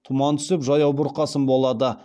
тұман түсіп жаяу бұрқасын болады